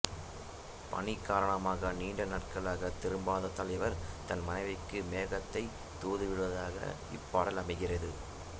பணி காரணமாக நீண்ட நாட்களாக திரும்பாத தலைவர் தன் மனைவிக்கு மேகத்தை தூதுவிடுவதாக இப்பாடல் அமைகிறது